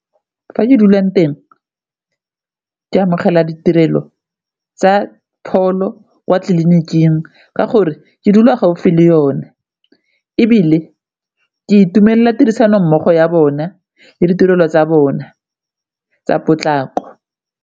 Fa ke dulang teng ke amogela ditirelo tsa pholo kwa tlelinikingka gore ke dula gaufi le yone, ebile ke itumelela tirisano mmogo ya bona le ditirelo tsa bona tsa potlako.